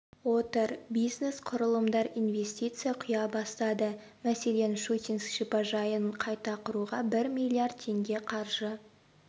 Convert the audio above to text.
отыр бизнес құрылымдар инвестиция құя бастады мәселен щучинск шипажайын қайта құруға бір миллиард теңге қаржы